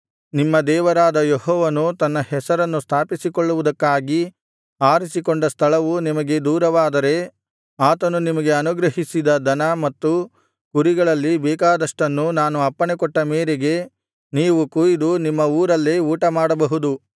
ನಿಮ್ಮ ದೇವರಾದ ಯೆಹೋವನು ತನ್ನ ಹೆಸರನ್ನು ಸ್ಥಾಪಿಸಿಕೊಳ್ಳುವುದಕ್ಕಾಗಿ ಆರಿಸಿಕೊಂಡ ಸ್ಥಳವು ನಿಮಗೆ ದೂರವಾದರೆ ಆತನು ನಿಮಗೆ ಅನುಗ್ರಹಿಸಿದ ದನ ಮತ್ತು ಕುರಿಗಳಲ್ಲಿ ಬೇಕಾದಷ್ಟನ್ನು ನಾನು ಅಪ್ಪಣೆಕೊಟ್ಟ ಮೇರೆಗೆ ನೀವು ಕೊಯಿದು ನಿಮ್ಮ ಊರಲ್ಲೇ ಊಟಮಾಡಬಹುದು